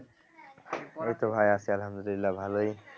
এইতো ভাই আছি আলহামদুলিল্লাহ ভালোই